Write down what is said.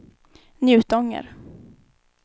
Njutånger